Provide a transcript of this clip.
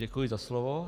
Děkuji za slovo.